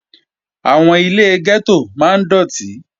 Àwọn ilé gẹ́tò máa ń dọ̀tí